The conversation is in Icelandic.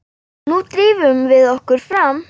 Nú drífum við okkur fram!